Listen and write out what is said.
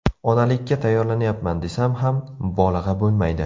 Onalikka tayyorlanyapman desam ham, mubolag‘a bo‘lmaydi.